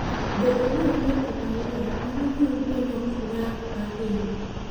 Bedo ni onge pi maler, mano miyo gwen ok nya ahinya.